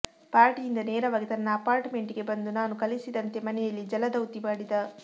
ಪಾರ್ಟಿಯಿಂದ ನೇರವಾಗಿ ತನ್ನ ಅಪಾರ್ಟ್ಮೆಂಟಿಗೆ ಬಂದು ನಾನು ಕಲಿಸಿದಂತೆ ಮನೆಯಲ್ಲಿ ಜಲಧೌತಿ ಮಾಡಿದ